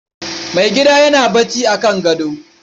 Mai gida yana barci a kan gado.